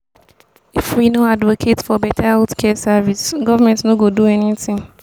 if we no advocate for beta healthcare service government no go do anything.